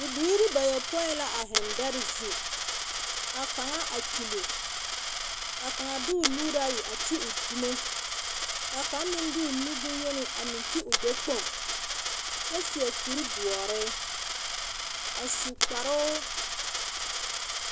Bibiiri bayopõi la a heŋ dɛre zu. Ka kaŋa a kyuli ka kaŋ a o nuuri ayi a ti dumo. Ka kaŋa meŋ de o nu boŋyeni a ti o gbɛkpoŋ kyɛ seɛ kuri doɔre a su kparoo…